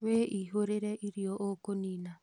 Wĩihũrĩre irio ũkũnina